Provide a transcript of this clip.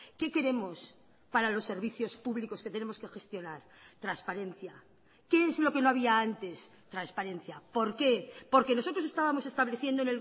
qué queremos para los servicios públicos que tenemos que gestionar transparencia qué es lo que no había antes transparencia por qué porque nosotros estábamos estableciendo